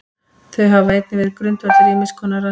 Þau hafa líka verið grundvöllur ýmiss konar rannsókna.